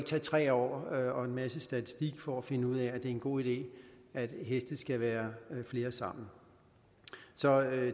tage tre år og en masse statistik for at finde ud af er en god idé at heste skal være flere sammen så